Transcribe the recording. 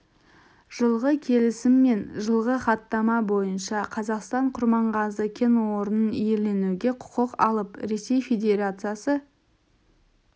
жылғы келісім мен жылғы хаттама бойынша қазақстан құрманғазы кен орнын иеленуге құқық алып ресей федерациясы